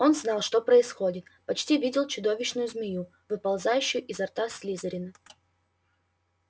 он знал что происходит почти видел чудовищную змею выползающую изо рта слизерина